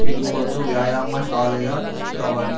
ಇದು ಒಂದು ವ್ಯಯಾಮ ಶಾಲೆಯ ಚಿತ್ರವಾಗಿದೆ.